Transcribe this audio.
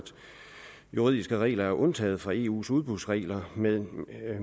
juridiske regler er undtaget fra eus udbudsregler men